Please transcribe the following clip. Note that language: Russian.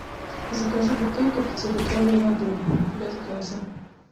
закажи бутылку пятилитровой воды без газа